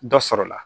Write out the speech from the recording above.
Dɔ sɔrɔ la